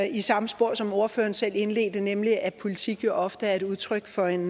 i samme spor som ordføreren selv indledte med nemlig at politik ofte er et udtryk for en